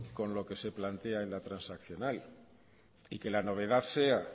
con lo que se plantea en la transaccional y que la novedad sea